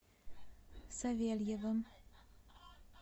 савельевым